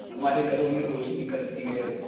हमारे घरों में रोशनी करती है